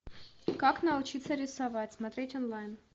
как научиться рисовать смотреть онлайн